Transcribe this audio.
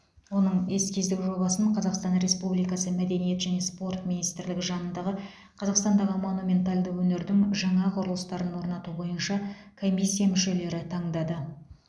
оның эскиздік жобасын қазақстан республикасы мәдениет және спорт министрлігі жанындағы қазақстандағы монументалды өнердің жаңа құрылыстарын орнату бойынша комиссия мүшелері таңдады